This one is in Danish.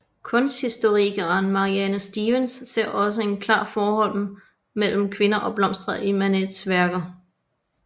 Kunsthistorikeren Maryanne Stevens ser også et klart forhold mellem kvinder og blomster i Manets værker